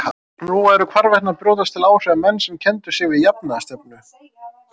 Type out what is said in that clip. Nú væru hvarvetna að brjótast til áhrifa menn sem kenndu sig við jafnaðarstefnu.